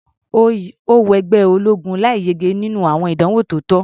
Ó wọ ẹgbẹ́ ológun láì yege nínú àwọn ìdánwò tó tọ́.